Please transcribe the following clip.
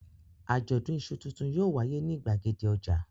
Àjọ̀dún iṣu tuntun yóò wáyé ní ìgbàgede ọjà.